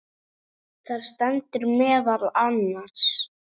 Þar stendur meðal annars